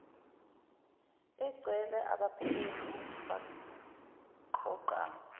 engcwele abaphenyi baqoqa